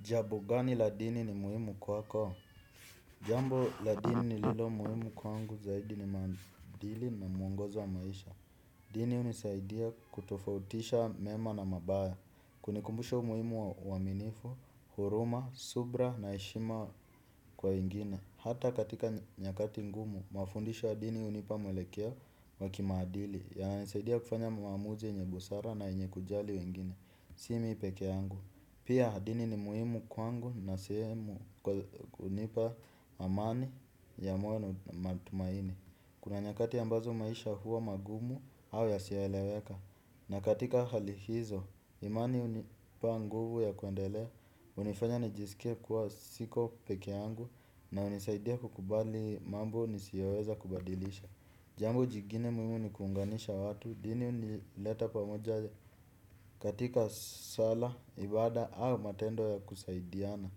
Jambo gani la dini ni muhimu kwako? Jambo la dini lililo muhimu kwangu zaidi ni maadili na muongozo wa maisha. Dini hunisaidia kutofautisha mema na mabaya. Kunikumbusha umuhimu wa uaminifu, huruma, subira na heshima kwa wengine. Hata katika nyakati ngumu, mafundisho ya dini hunipa mwelekeo wa kimaadili. Yananisaidia kufanya maamuzi yenye busara na yenye kujali wengine. Si mimi pekee yangu. Pia dini ni muhimu kwangu na sehemu, hunipa amani ya moyo na matumaini. Kuna nyakati ambazo maisha huwa magumu au yasiyoeleweka. Na katika hali hizo, imani hunipa nguvu ya kuendelea hunifanya nijisike kuwa siko peke yangu na hunisaidia kukubali mambo nisiyoweza kubadilisha. Jambo jingine muhimu ni kuunganisha watu, dini hunileta pamoja katika salaa, ibada au matendo ya kusaidiana.